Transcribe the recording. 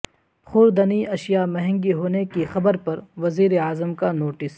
خوردنی اشیا مہنگی ہونے کی خبر پر وزیر اعظم کا نوٹس